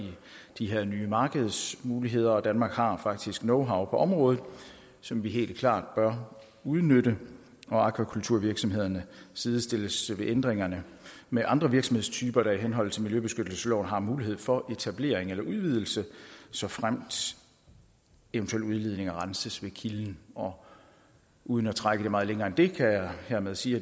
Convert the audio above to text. de her nye markedsmuligheder og danmark har faktisk knowhow på området som vi helt klart bør udnytte akvakulturvirksomhederne sidestilles ved ændringerne med andre virksomhedstyper der i henhold til miljøbeskyttelsesloven har mulighed for etablering eller udvidelse såfremt eventuelle udledninger renses ved kilden og uden at trække det meget længere end det kan jeg hermed sige